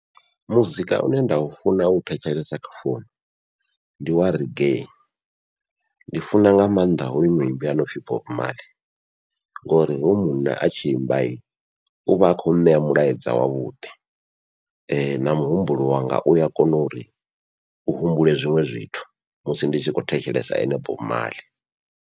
Muzika une nda u funa u thetshelesa kha founu ndi wa reggae ndi funa nga maanḓa hoyu muimbi onopfhi Bob Marley, ngori hoyu munna a tshi imba vha uvha a khou ṋea mulaedza wavhuḓi na muhumbulo wanga ua kona uri u humbule zwiṅwe zwithu musi ndi tshi khou thetshelesa ene Bob Marley.